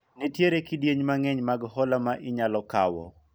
nitiere kidienje mang'eny mag hola ma inyalo kawo